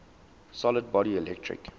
solid body electric